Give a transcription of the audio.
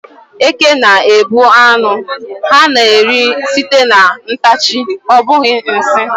Eke na-egbu ánụ ha na-eri sìté na ntachi, ọ bụghị nsị.